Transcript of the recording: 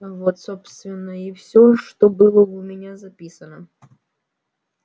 вот собственно и всё что было у меня записано